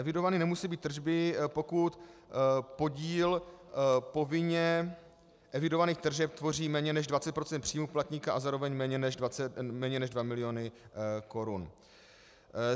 Evidovány nemusí být tržby, pokud podíl povinně evidovaných tržeb tvoří méně než 20 % příjmů poplatníka a zároveň méně než 2 miliony korun.